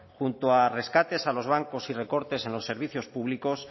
junto a rescates a los bancos y recortes en los servicios públicos